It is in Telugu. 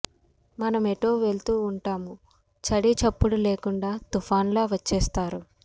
మనమెటో వెళ్తూ ఉంటాము చడిచప్పుడు లేకుండా తుఫానులా వచ్చేస్తారు